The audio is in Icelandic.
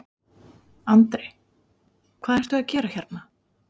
Andri: Hvað ert þú að gera hérna?